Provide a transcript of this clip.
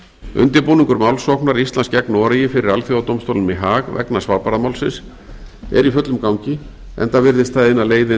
undirbúningur málssóknar íslands gegn noregi fyrir alþjóðadómstólnum í haag vegna svalbarðamálsins er í fullum gangi enda virðist það eina leiðin